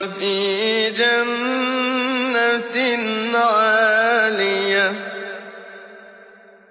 فِي جَنَّةٍ عَالِيَةٍ